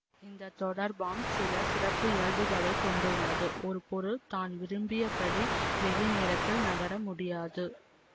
இந்த தொடர்பாம் சில சிறப்பு இயல்புகளை கொண்டுள்ளது ஒரு பொருள் தான் விரும்பியபடி வெளிநேரத்தில் நகர முடியாது